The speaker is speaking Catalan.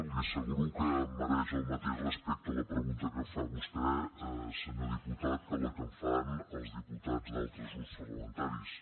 li asseguro que em mereix el mateix respecte la pregunta que em fa vostè senyor diputat que la que em fan els diputats d’altres grups parlamentaris